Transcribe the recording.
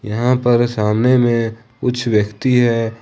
यहां पर सामने में कुछ व्यक्ति हैं।